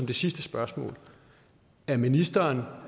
det sidste spørgsmål er ministeren